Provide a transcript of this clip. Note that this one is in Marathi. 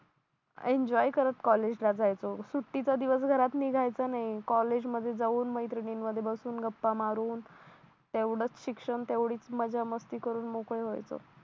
एन्जॉय करत कॉलेजला जायचो सुट्टीचा दिवस घरात निघायचं नाही कॉलेजमध्ये जाऊन मैत्रिणीनं मधून बसून गप्पा मारून तेवडंच शिक्षण तेवडीचं मज्जा मस्ती करून मोकळे व्हायचं